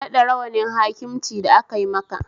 Ka naɗa rawanin hakimci da akai maka